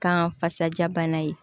Kan fasaja bana ye